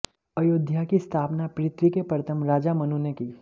अयोध्या की स्थापना पृथ्वी के प्रथम राजा मनु ने की